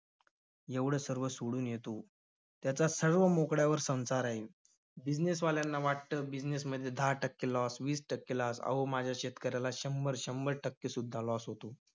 एवढं सर्व सोडून येतो. त्याचा सर्व मोकळ्यावर संसार आहे. business वाल्यांना वाटतं, business मध्ये दहा टक्के loss वीस टक्के loss अहो माझ्या शेतकऱ्याला शंभर-शंभर टक्केसुद्धा loss होतो.